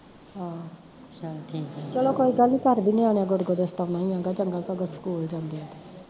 ਆਹੋ ਚਲੋ ਕੋਈ ਗੱਲ ਨੀ ਘਰ ਵੀ ਨਿਆਣਿਆ ਗੋਡੇ ਗੋਡੇ ਸਤਾਉਣਾ ਈ ਆ ਗਾ, ਚੰਗਾ ਸਗੋਂ ਸਕੂਲ ਜਾਂਦੇ ਐ ਤੇ